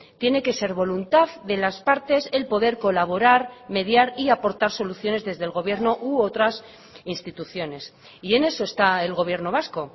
tiene que ser voluntad de las partes el poder colaborar mediar y aportar soluciones desde el gobierno u otras instituciones y en eso está el gobierno vasco